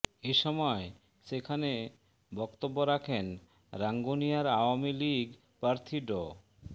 এ সময় সেখানে বক্তব্য রাখন রাঙ্গুনিয়ার আওয়ামী লীগ প্রার্থী ড